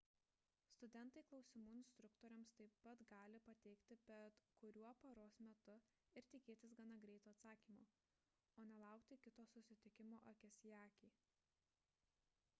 studentai klausimų instruktoriams taip pat gali pateikti bet kuriuo paros metu ir tikėtis gana greito atsakymo o ne laukti kito susitikimo akis į akį